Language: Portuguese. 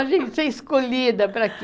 A gente é escolhida para quê?